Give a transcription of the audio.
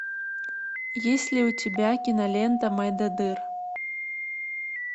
есть ли у тебя кинолента мойдодыр